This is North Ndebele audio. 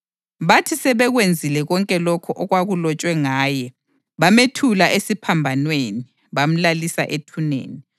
Bathi sebekwenzile konke lokho okwakulotshwe ngaye, bamethula esiphambanweni bamlalisa ethuneni.